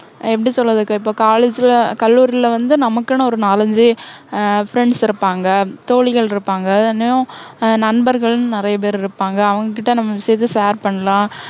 எப்படி சொல்றதுக்கு, இப்போ college ல கல்லூரில வந்து நமக்குன்னு ஒரு நாலு அஞ்சு உம் friends இருப்பாங்க. தோழிகள் இருப்பாங்க. இன்னும் ஹம் நண்பர்கள் நிறைய பேரு இருப்பாங்க. அவங்க கிட்ட நம்ம விஷயத்தை share பண்ணலாம்.